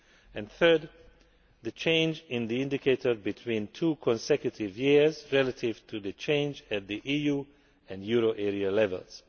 and, thirdly, the change in the indicator between two consecutive years relative to the change at EU and euro area levels.